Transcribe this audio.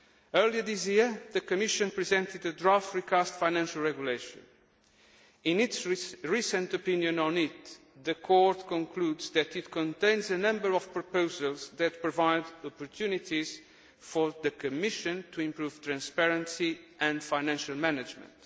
Earlier this year, the Commission presented a draft recast Financial Regulation. In its recent opinion on this, the Court concludes that it contains a number of proposals that provide opportunities for the Commission to improve transparency and financial management.